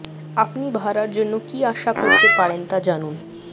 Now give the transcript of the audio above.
আপনি ভাড়ার জন্য কি আশা করতে পারেন তা জানুন